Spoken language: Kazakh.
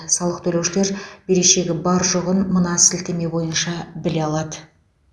салық төлеушілер берешегі бар жоғын мына сілтеме бойынша біле алады